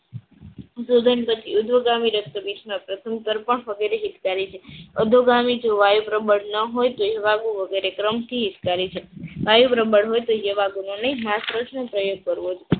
ઉધ્વગામી રક્તપિતમાં પ્રથમ વગેરે હિતકારી છે. અધોગામી જો વાયુ પ્રબળ ન હોય તેવું આખું વગેરે ક્રમ થી હિતકારી છે. વાયુ પ્રબળ ન હોય